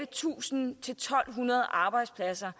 tusind to hundrede arbejdspladser